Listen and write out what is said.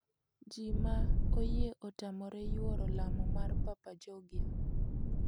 Ji ma oyie otamore yuoro lamo mar papa Georgia.